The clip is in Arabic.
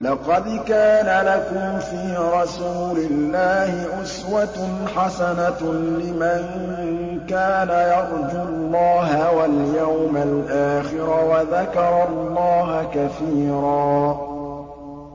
لَّقَدْ كَانَ لَكُمْ فِي رَسُولِ اللَّهِ أُسْوَةٌ حَسَنَةٌ لِّمَن كَانَ يَرْجُو اللَّهَ وَالْيَوْمَ الْآخِرَ وَذَكَرَ اللَّهَ كَثِيرًا